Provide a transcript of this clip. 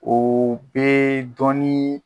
O bɛ dɔɔni.